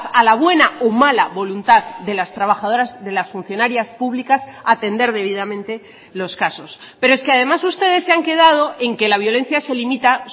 a la buena o mala voluntad de las trabajadoras de las funcionarias públicas atender debidamente los casos pero es que además ustedes se han quedado en que la violencia se limita